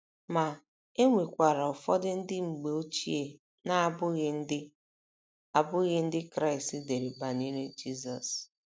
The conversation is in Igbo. Ma, e nwekwara ụfọdụ ndị mgbe ochie na - abụghị Ndị - abụghị Ndị Kraịst dere banyere Jizọs.